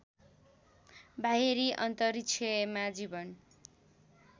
बाहिरी अन्तरिक्षमा जीवन